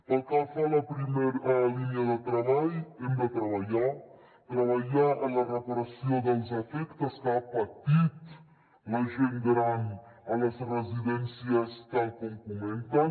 pel que fa a la primera línia de treball hem de treballar treballar en la reparació dels efectes que ha patit la gent gran a les residències tal com comenten